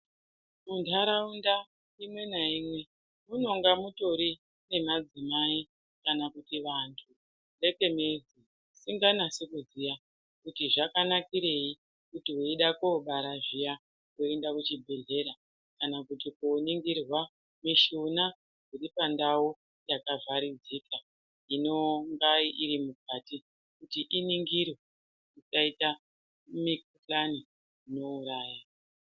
Munharaunda imwe naimwe munonga mutori nemadzimai kana kuti vanhu smes/vasinganasi kuziya kuti zvakanakirei kuti weida kobara zviya woenda kuchibhehlera kana kuti koningirwa mishuna iripandau yakavharidzika inonga irimukati kuti iningirwe isaita mikana inouraya.